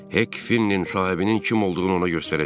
Hek Finnin sahibinin kim olduğunu ona göstərəcək.